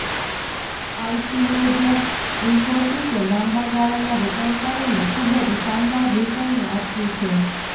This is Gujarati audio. આઈટી મેજર ઇન્ફોસીસે લાંબાગાળાના રોકાણકારોને ખૂબ જ શાનદાર રિટર્ન આપ્યું છે